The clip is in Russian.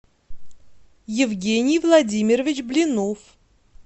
евгений владимирович блинов